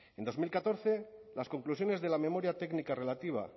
en dos mil catorce las conclusiones de la memoria técnica relativa